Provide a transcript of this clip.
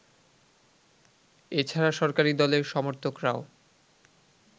এছাড়া সরকারি দলের সমর্থকরাও